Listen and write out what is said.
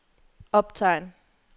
optegn